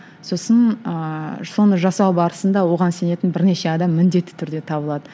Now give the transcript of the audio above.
сосын ыыы соны жасау барысында оған сенетін бірнеше адам міндетті түрде табылады